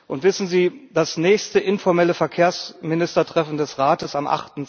Und wissen Sie, das nächste informelle Verkehrsministertreffen des Rates am